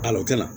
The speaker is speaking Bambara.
o kɛnɛ